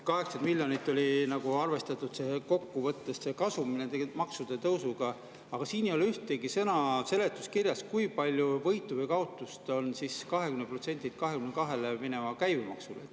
80 miljonit oli arvestatud kokkuvõttes kasum nende maksude tõusuga, aga siin ei ole ühtegi sõna seletuskirjas, kui palju võitu või kaotust on siis 20%‑lt 22%‑le mineva käibemaksuga.